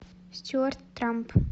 стюарт трамп